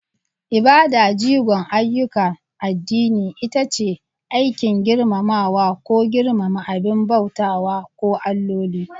Ibada, jigon ayyukan addini, ita ce aikin girmamawa ko girmama abin bautawa ko alloli.